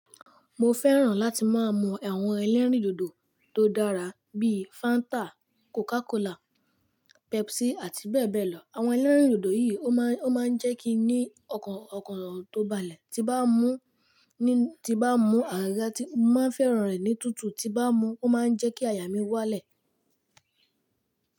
Mo fẹ́ràn láti máa mú àwọn elérìndòdò tó dára bí i Fanta, Coca-Cola, Pepsi àti bẹ́ẹ̀ bẹ́ẹ̀ lọ. Àwọn elérìndòdò yìí ó máa ń jẹ́ kí n ní ọ̀kan ọ̀kan tó balẹ̀ tí bá mú ní, tí bá mú àgàgà tí mo máa ń fẹ́ràn rẹ̀ ní tútù tí bá mú, ó máa ń jẹ́ kí àyà mí wálẹ̀.